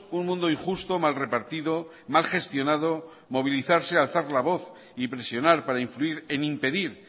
un mundo injusto mal repartido mal gestionado movilizarse alzar la voz y presionar para influir en impedir